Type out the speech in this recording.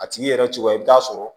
A tigi yɛrɛ cogoya i bɛ taa sɔrɔ